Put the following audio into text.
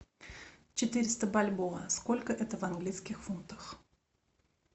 четыреста бальбоа сколько это в английских фунтах